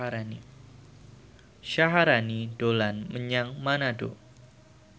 Syaharani dolan menyang Manado